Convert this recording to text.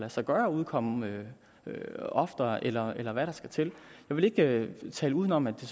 sig gøre at udkomme oftere eller eller hvad der skal til jeg vil ikke tale uden om at det